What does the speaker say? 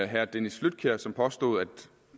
herre dennis flydtkjær som påstod at